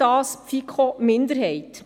FiKo-Minderheit.